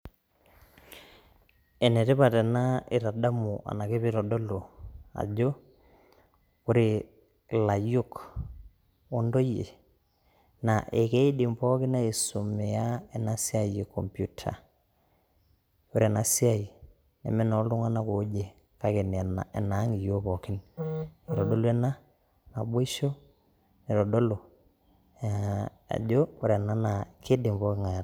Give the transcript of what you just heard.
Ene tipat ena itadamu anake peeitodolu ajo ore ilayiok o ntoyie naa akiidim pookin aisomea ena siai e komputa. Ore ena siai neme nooltung'anak oje kake enaang' iyook pookin. Kitadolu ena naboisho nitodolu ajo ore ena naa kidim pooking'ai ataasa.